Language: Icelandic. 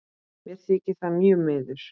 Mér þykir það mjög miður.